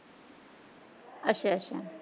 ਅੱਛਾ ਅੱਛਾ।